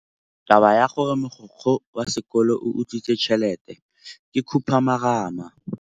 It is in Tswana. Taba ya gore mogokgo wa sekolo o utswitse tšhelete ke khupamarama.